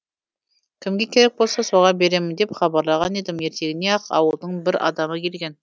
кімге керек болса соған беремін деп хабарлаған едім ертеңіне ақ ауылдың бір адамы келген